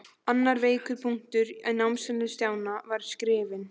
Annar veikur punktur á námsferli Stjána var skriftin.